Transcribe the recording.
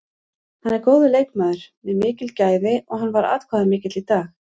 Hann er góður leikmaður með mikil gæði og hann var atkvæðamikill í dag.